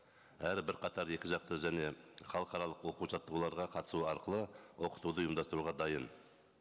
әрі бірқатар екі жақты және халықаралық оқу жаттығуларға қатысу арқылы оқытуды ұйымдастыруға дайын